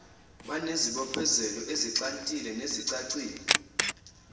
banezibophezelelo ezixhantile nezicacile